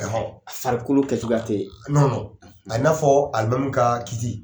Farikolo kɛ cogoya tɛ, a bɛ i n'a fɔ alimami ka kiti.